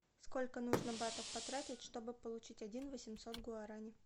сколько нужно батов потратить чтобы получить один восемьсот гуарани